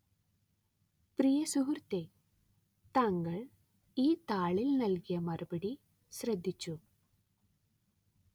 പ്രിയ സുഹൃത്തേ താങ്കള്‍ ഈ താളില്‍ നല്‍കിയ മറുപടി ശ്രദ്ധിച്ചു